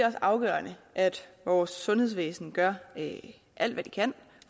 afgørende at vores sundhedsvæsen gør alt hvad det kan